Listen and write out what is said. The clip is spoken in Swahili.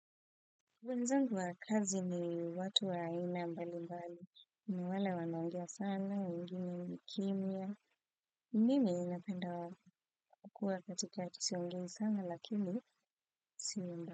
Wenzangu wa kazi ni watu wa aina mbali mbali, ni wale wanaongea sana, wengine ni kimya, mimi ninapenda kukua katika ati siongei sana lakini siyo mbaya.